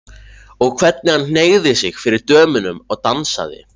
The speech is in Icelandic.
Og hvernig hann hneigði sig fyrir dömunum og dansaði!